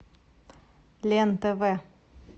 лен тв